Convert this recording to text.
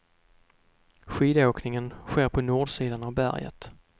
Skidåkningen sker på nordsidan av berget.